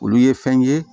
Olu ye fɛn ye